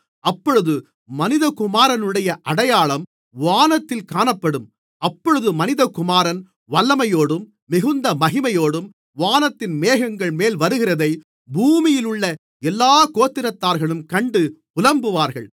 அப்பொழுது மனிதகுமாரனுடைய அடையாளம் வானத்தில் காணப்படும் அப்பொழுது மனிதகுமாரன் வல்லமையோடும் மிகுந்த மகிமையோடும் வானத்தின் மேகங்கள்மேல் வருகிறதை பூமியிலுள்ள எல்லாக் கோத்திரத்தார்களும் கண்டு புலம்புவார்கள்